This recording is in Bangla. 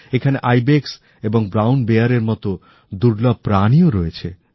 এখানে ইবেক্স এবং বাদামী ভল্লুকের মত দুর্লভ প্রাণীও থাকে